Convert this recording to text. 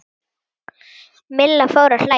Milla fór að hlæja.